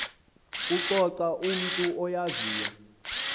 kuxoxa umntu oyaziyo